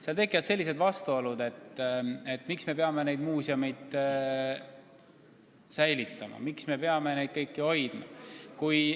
Seal tekivad suured vastuolud, tekivad küsimused, miks me peame neid muuseume säilitama, miks me peame kõiki objekte hoidma.